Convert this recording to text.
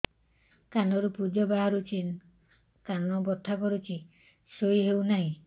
କାନ ରୁ ପୂଜ ବାହାରୁଛି କାନ ବଥା କରୁଛି ଶୋଇ ହେଉନାହିଁ